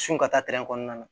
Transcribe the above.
Su ka taa kɔnɔna na